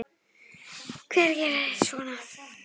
Hver gerir svona?